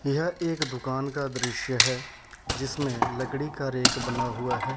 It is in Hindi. यह एक दुकान का दृश्य है जिसमें लकड़ी का रैक बना हुआ है।